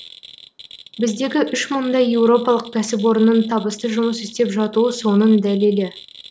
біздегі үш мыңдай еуропалық кәсіпорынның табысты жұмыс істеп жатуы соның дәлелі